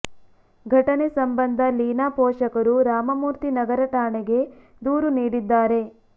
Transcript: ಘಟನೆ ಸಂಬಂಧ ಲೀನಾ ಪೋಷಕರು ರಾಮಮೂರ್ತಿ ನಗರ ಠಾಣೆಗೆ ದೂರು ನೀಡಿದ್ದಾರೆ